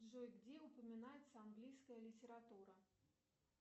джой где упоминается английская литература